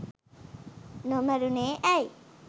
නොමරුනේ ඇයි?